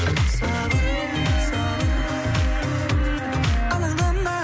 сабырлы сабырлы алаңдама